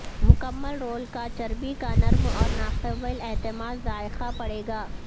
مکمل رول کا چربی کا نرم اور ناقابل اعتماد ذائقہ پڑے گا